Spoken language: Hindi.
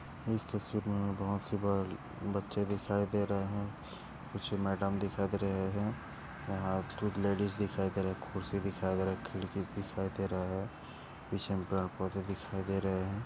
इस तस्वीर में बहुत से ब बच्चे दिखाई दे रहे हैं। पीछे मैडम दिखाई दे रहे हैं। यहाँ यहा कूछ लेडीज दिखाई दे रहे। कुर्सी दिखाई दे रहे। खिड़की दिखाई दे रहे। पीछे पेड़ पौधे दिखाई दे रहे हैं।